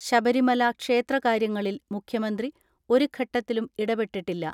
ശബരിമല ക്ഷേത്രകാര്യ ങ്ങളിൽ മുഖ്യമന്ത്രി ഒരു ഘട്ടത്തിലും ഇടപെട്ടിട്ടില്ല.